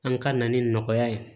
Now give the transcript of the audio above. An ka na ni nɔgɔya ye